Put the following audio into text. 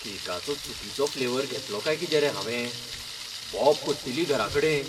केकाचो चुकिचो फ्लेवर घेतलो काय कितें रे हावें? बोब पडटली घराकडेन.